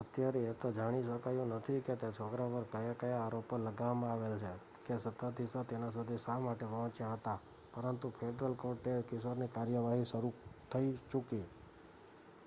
અત્યારે એ તો જાણી શકાયું નથી કે તે છોકરા પર કયા આરોપો લગાવવામાં આવેલ છે કે સત્તાધીશો તેના સુધી શા માટે પહોંચ્યા પરંતુ ફેડરલ કોર્ટમાં તે કિશોરની કાર્યવાહી શરુ થઈ ચુકી